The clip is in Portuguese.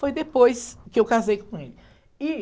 foi depois que eu casei com ele. E,